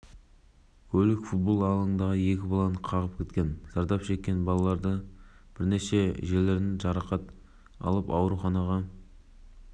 тамызда астанадағы аулалардың бірінде екі баланы соғып кеткен болатын куәгерлердің айтуынша қатты жылдамдықпен жүйткіп келе жатқан